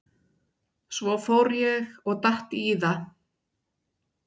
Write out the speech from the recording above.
Svo ég fór og datt í það.